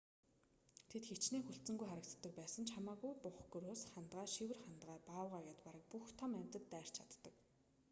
тэд хэчнээн хүлцэнгүй харагддаг ч байсан хамаагүй бух гөрөөс хандгай шивэр хандгай баавгай гээд бараг бүх том амьтад дайрч чаддаг